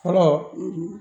Fɔlɔ